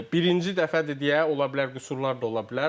Birinci dəfədir deyə, ola bilər qüsurlar da ola bilər.